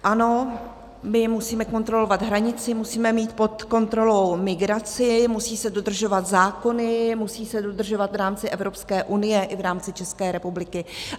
Ano, my musíme kontrolovat hranici, musíme mít pod kontrolou migraci, musí se dodržovat zákony, musí se dodržovat v rámci Evropské unie i v rámci České republiky.